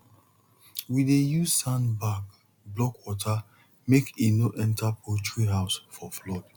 we dey use sandbag block water make e no enter poultry house for flood